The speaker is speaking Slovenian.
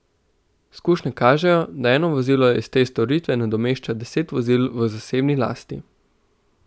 Izkušnje kažejo, da eno vozilo iz te storitve nadomešča deset vozil v zasebni lasti.